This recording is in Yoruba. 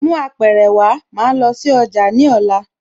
Mú Apẹ̀rẹ̀ wá, màá lọ sí ọjà ní ọ̀la